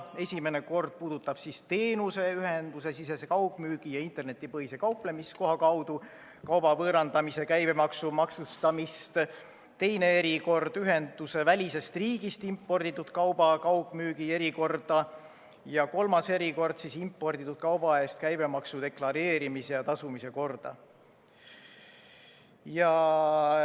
Esimene kord puudutab teenuse, ühendusesisese kaugmüügi ja internetipõhise kauplemiskoha kaudu kauba võõrandamise käibemaksuga maksustamist, teine erikord ühendusevälisest riigist imporditud kauba kaugmüügi erikorda ja kolmas erikord imporditud kauba eest käibemaksu deklareerimise ja tasumise korda.